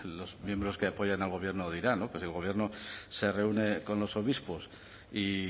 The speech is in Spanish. los miembros que apoyan al gobierno dirán pero el gobierno se reúne con los obispos y